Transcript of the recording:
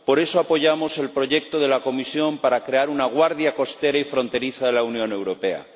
Por eso apoyamos el proyecto de la Comisión para crear una guardia costera y fronteriza de la Unión Europea.